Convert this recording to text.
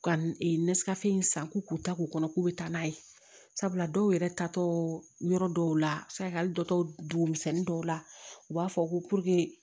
Ka nasikafo in san k'u k'u ta k'u kɔnɔ k'u bɛ taa n'a ye sabula dɔw yɛrɛ tatɔ yɔrɔ dɔw la sɛgɛli dɔtɔ dugumisɛnnin dɔw la u b'a fɔ ko